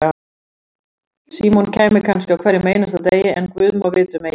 Símon kæmi kannski á hverjum einasta degi, en guð má vita um Egil.